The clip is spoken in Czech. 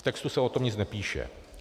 V textu se o tom nic nepíše.